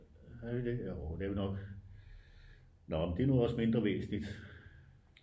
Jeg ved det ikke jo det er vi nok nå men det er nu også mindre væsentligt